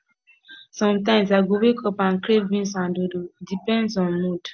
sometimes i go wake up and crave beans and dodo depends on mood